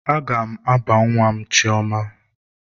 Aga m aba nwa m chioma.